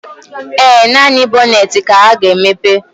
Ee, naanị bọnetị ka ị ga-emepe